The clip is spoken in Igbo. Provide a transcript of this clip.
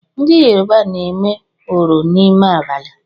Ndị Yoruba na-eme oro n’ime abalị